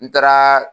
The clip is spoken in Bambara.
N taaraa